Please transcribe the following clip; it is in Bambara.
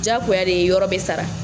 Jagoya de yɔrɔ bɛ sara.